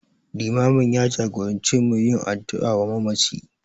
Limamin ya jagorance mu da yin addu'a wa mamaci.